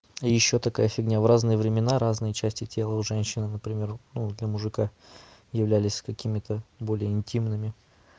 ещё такая фигня в разные времена разные части тела у женщин например ну для мужика являлись какими-то более интимными